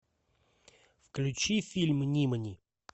включи фильм нимани